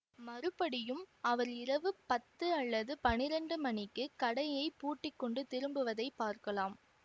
மறுபடியும் அவர் இரவு பத்து அல்லது பன்னிரண்டு மணிக்கு கடையைப் பூட்டி கொண்டு திரும்புவதைப் பார்க்கலாம்